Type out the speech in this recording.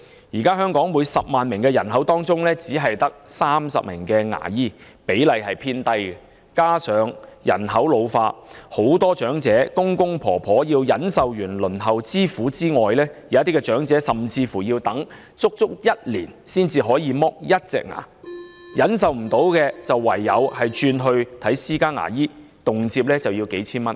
現時香港每10萬名人口中，只有30名牙醫，比例偏低，加上人口老化，許多長者除了要忍受輪候之苦外，有一些長者甚至要等足1年才能脫去1顆牙齒，要是等不及，便唯有轉往看私家牙醫，屆時動輒便須耗費數千元了。